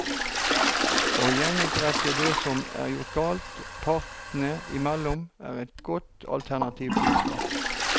Å gjenopprette det som er gjort galt, partene imellom, er et godt alternativ til straff.